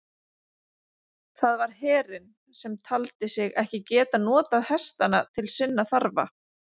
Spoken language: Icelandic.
Það var herinn, sem taldi sig ekki geta notað hestana til sinna þarfa.